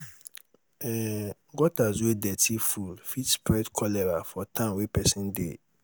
um gutters wey dirty full fit spread cholera for town wey pesin dey